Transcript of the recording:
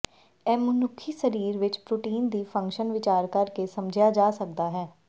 ਇਹ ਮਨੁੱਖੀ ਸਰੀਰ ਵਿੱਚ ਪ੍ਰੋਟੀਨ ਦੀ ਫੰਕਸ਼ਨ ਵਿਚਾਰ ਕਰ ਕੇ ਸਮਝਿਆ ਜਾ ਸਕਦਾ ਹੈ